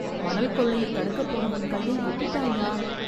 மணல் கொள்ளையைத் தடுக்கப் போனவன் கையை வெட்டிட்டான்யா.